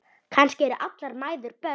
Kannski eru allar mæður börn.